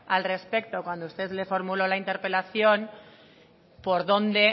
al respecto cuando usted le formuló la interpelación por dónde